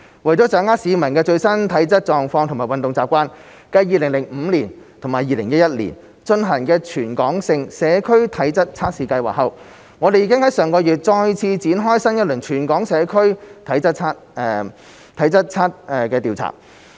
為了掌握市民的最新體質狀況及運動習慣，繼2005年及2011年進行全港性的社區體質測試計劃後，我們已於上個月再次展開新一輪"全港社區體質調查"。